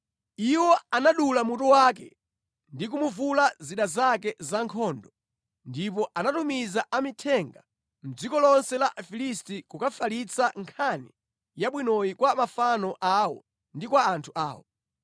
Iwo anadula mutu wake ndi kumuvula zida zake zankhondo. Ndipo anatumiza amithenga mʼdziko lonse la Afilisti kukafalitsa nkhani yabwinoyi kwa mafano awo ndi kwa anthu awo.